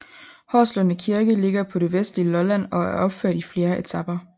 Horslunde Kirke ligger på det vestlige Lolland og er opført i flere etaper